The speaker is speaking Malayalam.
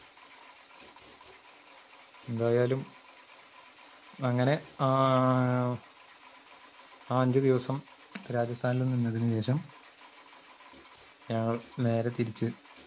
എന്തായാലും അങ്ങനെ ആഹ് ആ അഞ്ചുദിവസം രാജസ്ഥാനിൽ നിന്നതിനുശേഷം ഞങ്ങൾ നേരെതിരിച്ച്